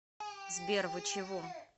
сбер вы чего